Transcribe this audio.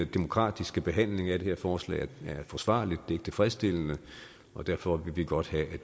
demokratiske behandling af det her forslag er forsvarlig den ikke tilfredsstillende og derfor vil vi godt have at